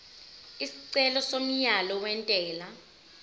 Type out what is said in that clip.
isicelo somyalo wentela